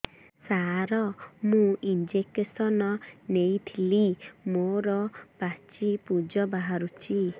ସାର ମୁଁ ଇଂଜେକସନ ନେଇଥିଲି ମୋରୋ ପାଚି ପୂଜ ବାହାରୁଚି